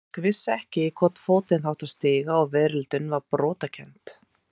Fólk vissi ekki í hvorn fótinn það átti að stíga og veröldin var brotakennd.